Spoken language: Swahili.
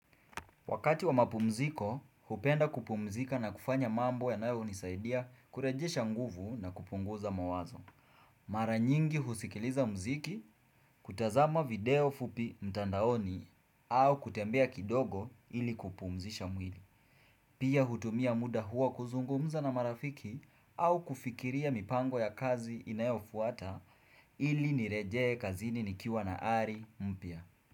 Wakati wa mapumziko, hupenda kupumzika na kufanya mambo yanayonisaidia kurejesha nguvu na kupunguza mawazo. Mara nyingi husikiliza mziki, kutazama video fupi mtandaoni au kutembea kidogo ili kupumzisha mwili. Pia hutumia muda huo kuzungumza na marafiki au kufikiria mipango ya kazi inayofuata ili nirejee kazini nikiwa na hali mpya.